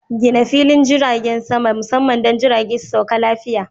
Gina filin jirgin sama musamman don jirage su sauka lafiya.